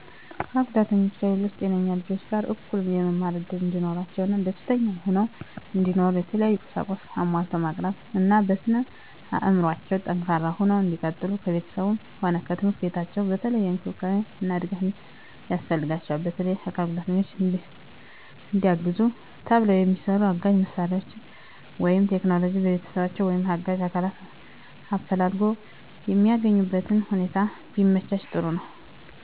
አካል ጉዳተኞች ከሌሎች ጤነኞች ልጆች ጋር እኩል የመማር እድል እንዲኖራቸው እና ደስተኛ ሁነው እንዲኖሩ የተለያዩ ቁሳቁስ አሟልቶ ማቅረብ እና በስነ አዕምሮአቸው ጠንካራ ሁነው እንዲቀጥሉ ከቤተሰባቸውም ሆነ ከትምህርት ቤታቸው የተለየ እንክብካቤ እና ድጋፍ ያስፈልጋቸዋል። በተለየ ለአካል ጉዳተኞች እንዲያግዙ ተብለው የሚሰሩ አጋዥ መሳሪያዎች ወይም ቴክኖሎጅዎች በቤተሰቦቻቸው ወይም አጋዥ አካላትን አፈላልጎ የሚያገኙበትነ ሁኔታ ቢመቻች ጥሩ ነዉ።